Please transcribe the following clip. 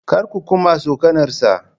Kar ku kuma tsokanarsa!